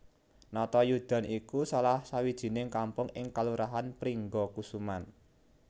Natayudan iku salah sawijining kampung ing kalurahan Pringgakusuman